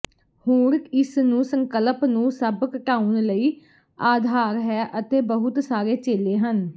ਹੁਣ ਇਸ ਨੂੰ ਸੰਕਲਪ ਨੂੰ ਸਭ ਘਟਾਉਣ ਲਈ ਆਧਾਰ ਹੈ ਅਤੇ ਬਹੁਤ ਸਾਰੇ ਚੇਲੇ ਹਨ